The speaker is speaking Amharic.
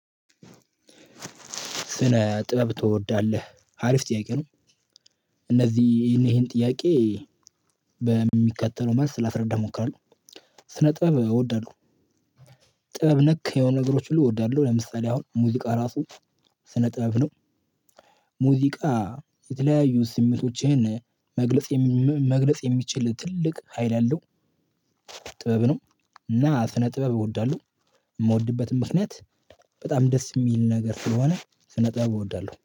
ስነ ጥበብ ትወዳለህ? አሪፍ ጥያቄ ነው እነዚህ ይሄን ጥያቄ በሚከተለው መልስ ላስረዳህ እሞክራለሁ፦ ስነ ጥበብ እወዳለሁ ጥበብ ነክ የሆነ ነገሮች ሁሉ እወዳለሁ ለምሳሌ አሁን ሙዚቃ ራሱ ስነ ጥበብ ነው ሙዚቃ የተለያዩ ስሜቶችህን መግለጽ መግለጽ የሚችል ትልቅ ሀይል ያለው ጥበብ ነው እና ስነ ጥበብ እወዳለሁ የምወድበትም ምክንያት በጣም ደስ የሚል ነገር ስለሆነ ስነ ጥበብ እወዳለሁ።